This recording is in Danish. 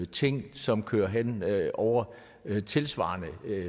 ting som kører hen over tilsvarende